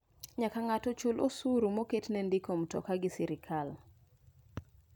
Nyaka ng'ato chul osuru moket ne ndiko mtoka gi sirkal.